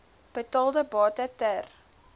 betaalde bate ter